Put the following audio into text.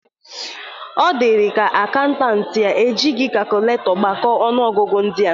Ọ dịrịka akaụntant e jighi kakụletọ gbakọ ọnụọgụgụ ndịa.